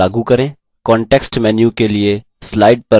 अब रंग को slide पर लागू करें